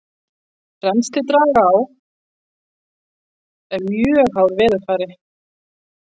rennsli dragáa er mjög háð veðurfari